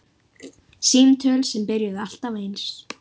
Símtöl sem byrjuðu alltaf eins.